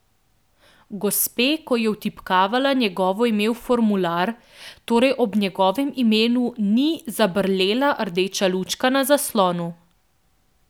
Gospe, ko je vtipkavala njegovo ime v formular, torej ob njegovem imenu ni zabrlela rdeča lučka na zaslonu.